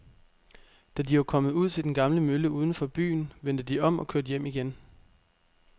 Da de var kommet ud til den gamle mølle uden for byen, vendte de om og kørte hjem igen.